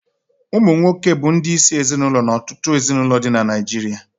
Ụmụnwoke bụ ndị isi ezinụlọ na ọtụtụ ezinụlọ dị na Naijiria